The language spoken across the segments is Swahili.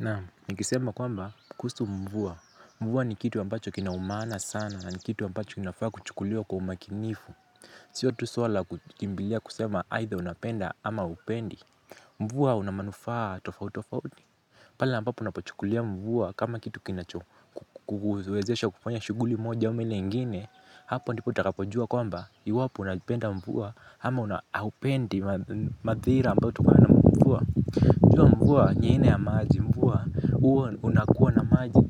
Na, nikisema kwamba kusu mvua, mvua ni kitu wambacho kinaumana sana, ni kitu wambacho kinafaa kuchukulwa kwa umakinifu. Sio tuswala kutimbilia kusema aidha unapenda ama hupendi. Mvua unamanufaa tofautofauti pale ambapo unapachukulia mvua kama kitu kinacho kuwezesha kufanya shuguli moja ama ngini. Hapo ndipo utakapo jua kwamba iwapo unapenda mvua ama huapendi madhira ambayo tukana mvua. Jua mvua nyeine ama aji mvua. Uo unakuwa na maji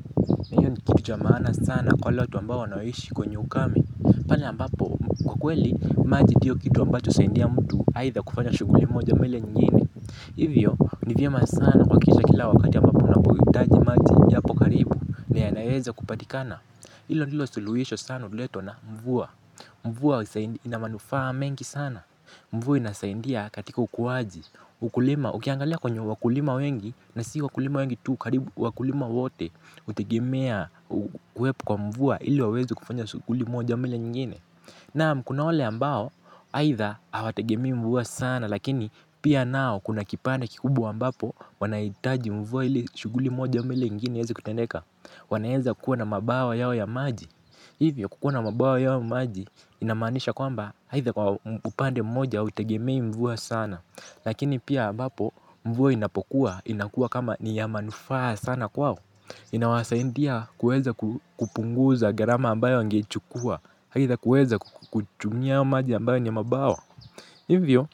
na hiyo ni kituja maana sana kwa lotu ambao wanawishi kwenye ukame pale ambapo kwa kweli maji diyo kitu ambacho saindia mtu haitha kufanya shuguli moja mele nyingine. Hivyo ni vyema sana kwa kisha kila wakati ambapo unapohitaji maji ni yapo karibu na yanayweza kupatikana. Hilo nilo siluyesho sana huleto na mvua. Mvua inamanufaa mengi sana. Mvua inasaindia katika ukuwaji. Ukulima ukiangalia kwenye wakulima wengi na si wakulima wengi tuu karibu wakulima wote hutegemea. Kuwepo kwa mvua ili waweze kufanya shughuli moja au ile ingine. Kuna wale ambao aidha hawategemei mvua sana lakini pia nao kuna kipande kikubwa ambapo wanahitaji mvua ili shughuli moja au ile ingine iweze kutendeka. Wanaeza kuwa na mabawa yao ya maji. Hivyo kukuwa na mabawa yao ya maji inamanisha kwamba haidha kwa upande mmoja hawa tegemei mvua sana. Lakini pia bapo mvuwa inapokuwa inakua kama niyamanufaa sana kwao. Inawasaindia kueza kupunguza garama ambayo ngechukua aidha kuweza kuchumia hayo maji ambayo ni nya mabawa. Hivyo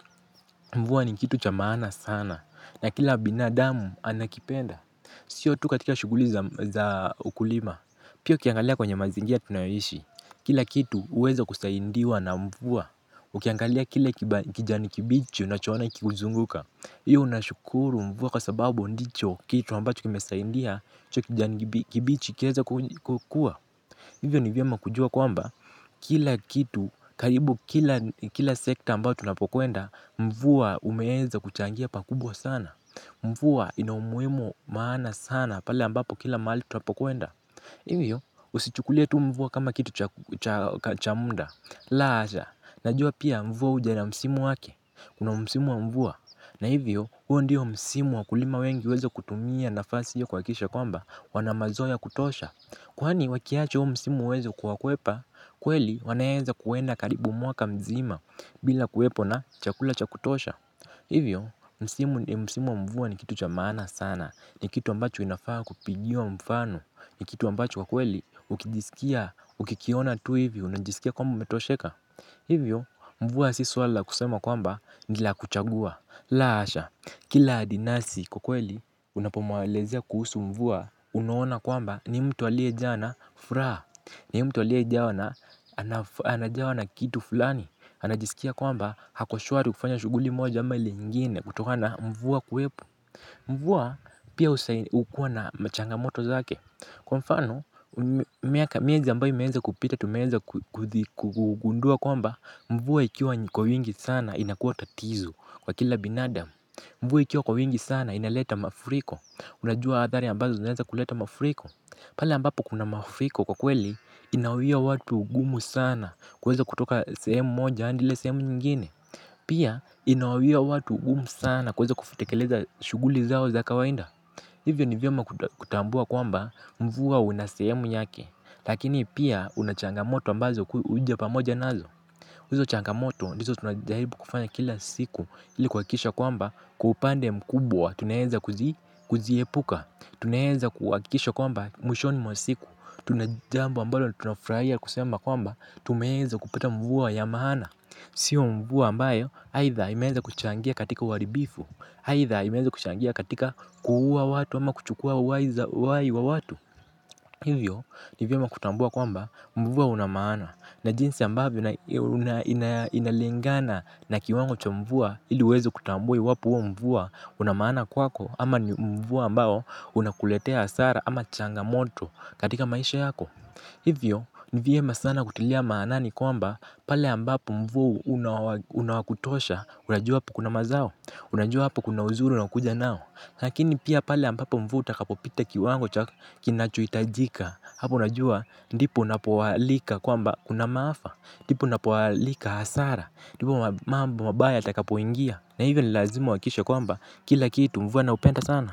mvuwa ni kitu chamana sana na kila binadamu anakipenda. Sio tu katika shuguli za ukulima pia ukiangalia kwenye mazingia tunayohishi. Kila kitu uweza kusaindiwa na mvuwa. Ukiangalia kila kijani kibichi unachowana kikuzunguka. Iyo unashukuru mvuwa kwa sababu ndicho kitu ambacho kimesaidia hicho kijani kibichi kiweze kukua. Hivyo ni vyama kujua kwamba kila kitu karibu kila sekta ambao tunapokuenda. Mvuwa umeheza kuchangia pakubwa sana. Mvuwa ina umuimo maana sana pale ambapo kila mali tunapokuenda. Iyo usichukulia tu mvuwa kama kitu cha munda. La asha, najua pia mvuwa uja na msimu wake, kuna msimu wa mvuwa, na hivyo huo ndiyo msimu wa kulima wengi wezo kutumia nafasi hiyo kwa kisha kwamba wanamazoya kutosha. Kwaani wakiacho huo msimu wezo kwa kwepa, kweli wanayeza kuwenda karibu mwaka mzima bila kwepo na chakula chakutosha. Hivyo, msimu mvua ni kitu chamana sana, ni kitu ambacho inafaa kupigiwa mfano, ni kitu ambacho kwa kweli, ukijisikia, ukikiona tu hivyo, unajisikia kwamba metosheka hivyo, mvua si swala kusema kwamba, nila kuchagua, la asha, kila adinasi kwa kweli, unapomawalezea kuhusu mvua, unohona kwamba, ni mtu alia jana, furaha. Na hii mtu walia jawa na kitu fulani. Anajisikia kwamba hakoshwari kufanya shuguli moja ama ili ngine kutohana mvua kuwepu. Mvua pia usaini ukua na machangamoto zake. Kwa mfano miaka mieza ambayo meenza kupita tumeenza kugundua kwamba mvua ikiwa kwa wingi sana inakuwa tatizu kwa kila binada. Mvua ikiwa kwa wingi sana inaleta mafuriko. Unajua adhari ambazo naenza kuleta mafuriko pala ambapo kuna mafiko kwa kweli inawia watu ugumu sana kweza kutoka sehemu moja andile sehemu nyingine. Pia inawia watu ugumu sana kweza kufitekeleza shuguli zao za kawainda. Hivyo ni vyoma kutambua kwamba mvua unasehemu yake. Lakini pia unachangamoto ambazo uja pamoja nazo. Uzo changamoto niso tunajahibu kufanya kila siku ilikuakisha kwamba kupande mkubwa. Tunaenza kuziepuka. Tunaenza kuakisho kwamba mwishoni mwa siku. Tuna jambu ambalo tuna fraya kusemba kwamba tumeenza kupata mvua ya maana. Sio mvua ambayo haitha imeenza kuchangia katika waribifu. Haitha imeenza kuchangia katika kuhua watu ama kuchukua uwai wa watu. Hivyo nivyema kutambua kwamba mvua unamana. Na jinsi ambayo inalingana na kiwango cha mvua ili wezo kutambu iwapo mvua. Unamana kwako ama mvu ambao unakuletea asara ama changamoto katika maisha yako. Hivyo nivyema sana kutilia maanani kwamba pale ambapo mvua unawakutosha. Unajua hapo kuna mazao. Unajua hapo kuna uzuru na kuja nao. Nakini pia pale ambapo mvu utakapo pita kiwango kinachuitajika. Hapo unajua ndipo unapowalika kwamba unamaafa ndipo unapowalika asara ndipo mambo mabaya takapo ingia. Na hivyo nilazima uwakisha kwamba kila kitu mvua na upenda sana.